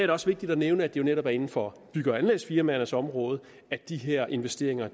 det også vigtigt at nævne at det netop er inden for bygge og anlægsfirmaernes område at de her investeringer